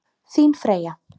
Þín Freyja.